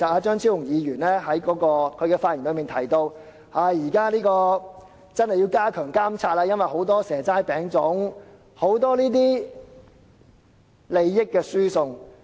張超雄議員在發言時提到，現時真的要加強監察，因為有很多"蛇齋餅粽"的情況，有很多這類利益輸送。